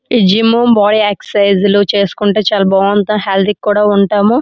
ఇక్కడ gym body exercise చాలా బాగుంది. మనకు చాలా హెల్త్ ఉన్నతది.